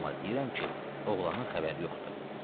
Amma deyirəm ki, oğlanın xəbəri yoxdur.